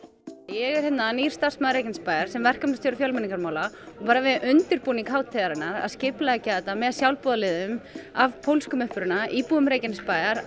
er nýr starfsmaður Reykjanesbæjar sem verkefnastjóri fjölmenningarmála og bara við undirbúning hátíðarinnar að skipuleggja þetta með sjálfboðaliðum af pólskum uppruna íbúum Reykjanesbæjar